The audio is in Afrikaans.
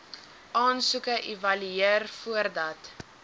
aansoeke evalueer voordat